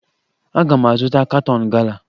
Aga m azụta katọn gala